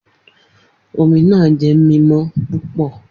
Omi naa jẹ mimọ pupọ